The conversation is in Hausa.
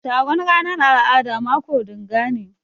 Taron ranan al'ada mako dinga ne.